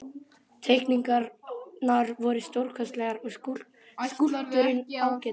Teikningarnar voru stórkostlegar og skúlptúrinn ágætur.